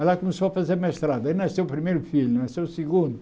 Ela começou a fazer mestrado, aí nasceu o primeiro filho, nasceu o segundo.